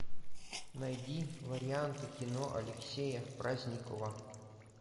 найди варианты кино алексея праздникова